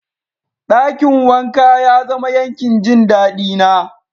Dakin wanka ya zama yankin jin dadi na.